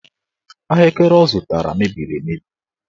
Ahụekere ọ zụtara mebiri emebi.